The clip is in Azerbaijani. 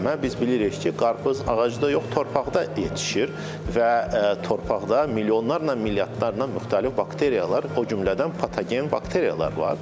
Biz bilirik ki, qarpız ağacda yox, torpaqda yetişir və torpaqda milyonlarla, milyardlarla müxtəlif bakteriyalar, o cümlədən patogen bakteriyalar var.